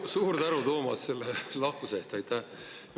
Suur tänu, Toomas, selle lahkuse eest!